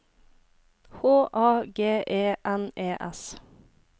H A G E N E S